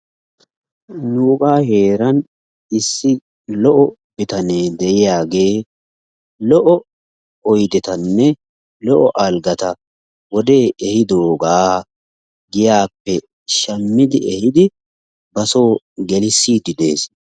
Nuugaa heeran issi lo"o bitanee de"iyaagee lo"o ayidetanne lo"o algata wodee ehiidoogaa giyaappe shammidi ehidi ba soo gelissiidi des.